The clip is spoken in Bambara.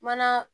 Mana